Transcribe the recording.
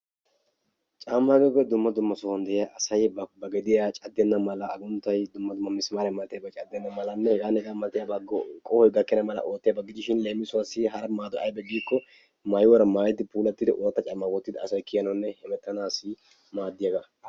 Caammaa giyogee dumma dumma sohuwan de"iya asay ba gediya caddenna mala agunttayi dumma dumma misimaariya malatiyabay caddenna malanne hegaanne hegaa malatiya qohoy gakkenna mala gakkenna mala oottiyaba gidishin leemisuwassi hara maadoy aybe giikko maayuwara maayidi puulattidi ooratta caammaa wottidi asay kiyanawunne hemettanaassi maaddiyaba.